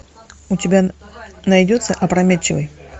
у тебя найдется опрометчивый